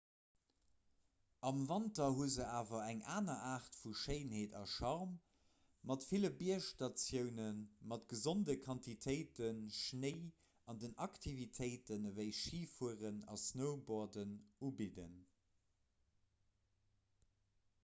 am wanter hu se awer eng aner aart vu schéinheet a charme mat ville biergstatioune mat gesonde quantitéite schnéi an déi aktivitéiten ewéi schifueren a snowboarden ubidden